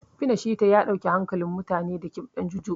Shina Pita ya ɗauke hankalin mutane da ƙiɓɗan Juju.